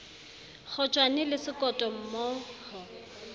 kgotjwane le sekoto mmo ho